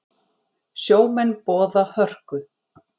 Sjómenn boða hörku